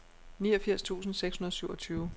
niogfirs tusind seks hundrede og syvogtyve